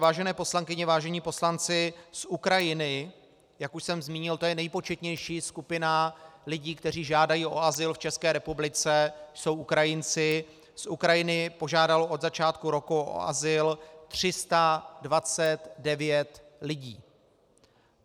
Vážené poslankyně, vážení poslanci, z Ukrajiny - jak už jsem zmínil, to je nejpočetnější skupina lidí, kteří žádají o azyl v České republice, jsou Ukrajinci - z Ukrajiny požádalo od začátku roku o azyl 329 lidí.